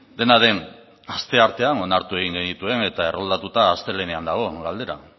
dena den asteartean onartu egin genituen eta erroldatuta astelehenean dago galdera